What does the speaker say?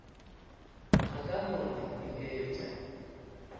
a ka no re biletša